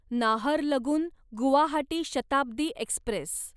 Naharlagun Guwahati Shatabdi Express